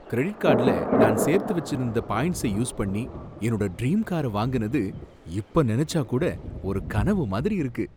Credit கார்டுல நான் சேர்த்து வைச்சிருந்த பாயின்ட்சை யூஸ் பண்ணி என்னோட ட்ரீம் கார வாங்குனது இப்ப நினைச்சாக் கூட ஒரு கனவு மாதிரி இருக்கு.